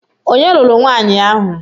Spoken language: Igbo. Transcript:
Onye lụrụ nwanyi ahụ?